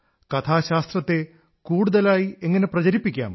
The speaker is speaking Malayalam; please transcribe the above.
കഥാശാസ്ത്രത്തെ കൂടുതലായി എങ്ങനെ പ്രചരിപ്പിക്കാം